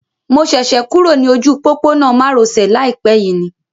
Mo ṣẹ̀ṣẹ̀ kúrò ní ojú òpópónà má ro sè láìpé yìí ni